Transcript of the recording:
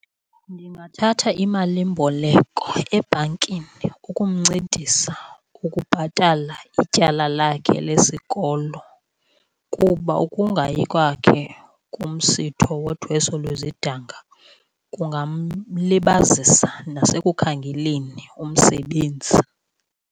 Ndingathatha imalimboleko ebhankini ukumncedisa ukubhatala ityala lakhe lesikolo, kuba ukungayi kwakhe kumsitho wothweso lwezidanga kungamlibazisa nasekukhangeleni umsebenzi.